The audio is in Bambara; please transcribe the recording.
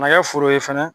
Ka na kɛ foro ye fɛnɛ